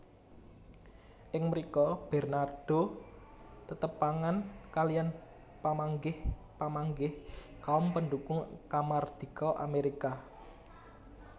Ing mrika Bernardo tetepangan kaliyan pamanggih pamanggih kaum pendukung kamardika Amerika